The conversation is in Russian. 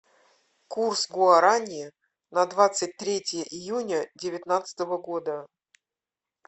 курс гуарани на двадцать третье июня девятнадцатого года